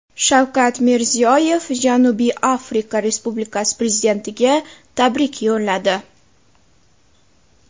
Shavkat Mirziyoyev Janubiy Afrika respublikasi prezidentiga tabrik yo‘lladi.